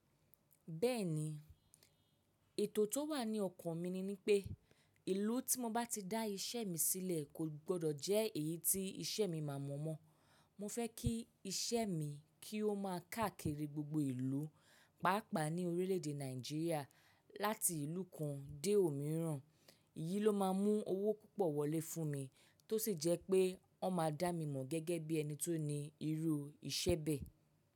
Bẹ́ẹ̀ni, ètò tó wà ní ọkàn mi ni ni pé ìlú tí mo bá ti dá iṣẹ́ mi sílẹ̀ kò gbọdọ̀ jẹ́ èyí tí iṣẹ́ mi máa mọ̀ mọ́. Mo fẹ́ kí iṣẹ́ mi kí ó máa káàkiri gbogbo ìlú, pàápàá ní orílẹ̀èdè Nàìjíríà láti ìlú kan dé òmíràn. Iyí ló máa mú owó púpọ̀ wọlé fún mi tó sì jẹ́ pé wọn máa dá mi mọ̀ gẹ́gẹ́ bí ẹni tó ní irú iṣẹ́ bẹ́ẹ̀.